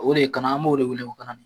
O de ye kana an b'o de wele ko kanali.